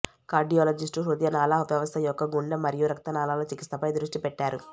cardiologists హృదయనాళ వ్యవస్థ యొక్క గుండె మరియు రక్తనాళాల చికిత్సపై దృష్టి పెట్టారు